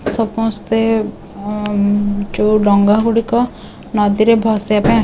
ସପସ୍ତେ ଆଁ ଉଁ ଯୋଉ ଡ଼ଙ୍ଗାଗୁଡ଼ିକ ନଦୀରେ ଭସେଇବା ପାଇଁ।